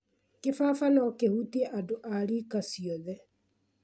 kĩbaba no kĩhutie andũ a rika ciothe